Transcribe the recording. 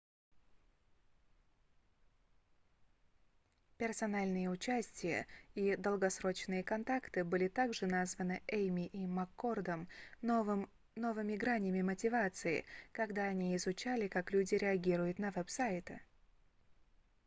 "персональное участие и долгосрочные контакты были также названы эймми и маккордом 1998 новыми гранями мотивации когда они изучали как люди реагируют на веб-сайты